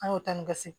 An y'o ta ni gasi